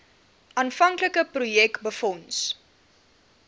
aanvanklike projek befonds